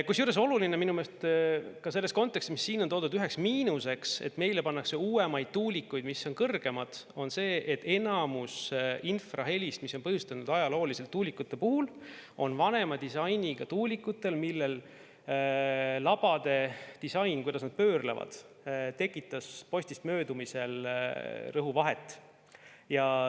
Kusjuures oluline on minu meelest ka selles kontekstis, mis siin on toodud ühe miinusena, et meile pannakse üles uuemaid tuulikuid, mis on kõrgemad, see, et enamus infrahelist, mida tuulikud on ajalooliselt põhjustanud, on vanema disainiga tuulikute puhul, mille labade disain, see, kuidas nad pöörlevad, tekitab postist möödumisel rõhuvahet.